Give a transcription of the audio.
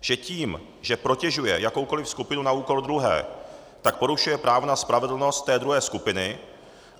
Že tím, že protežuje jakoukoliv skupinu na úkor druhé, tak porušuje právo na spravedlnost té druhé skupiny.